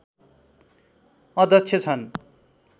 अध्यक्ष छन्